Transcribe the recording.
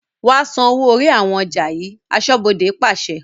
"Wa san owó orí àwọn ọjà yii" aṣọ́bodè pàṣẹ.